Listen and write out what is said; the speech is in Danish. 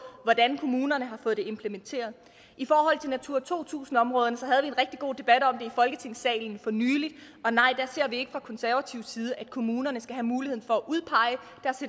hvordan kommunerne har fået det implementeret i forhold til natura to tusind områderne havde en rigtig god debat om det i folketingssalen for nylig og nej der ser vi ikke fra konservativ side at kommunerne skal have muligheden for